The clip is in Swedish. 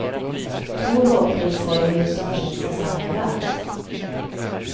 Två lågprisvaruhus som finns nästan överallt.